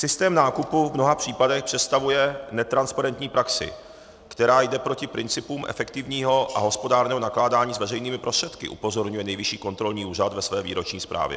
Systém nákupu v mnoha příkladech představuje netransparentní praxi, která jde proti principům efektivního a hospodárného nakládání s veřejnými prostředky, upozorňuje Nejvyšší kontrolní úřad ve své výroční zprávě.